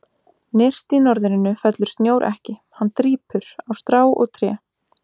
Nyrst í norðrinu fellur snjór ekki, hann drýpur, á strá og tré.